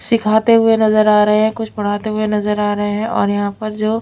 सिखाते हुए नजर आ रहे है कुछ पढ़ाते हुए नजर आ रहे है और यहां पर जो--